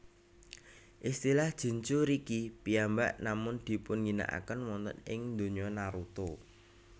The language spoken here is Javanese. Istilah Jinchuuriki piyambak namung dipunginaken wonten ing donya Naruto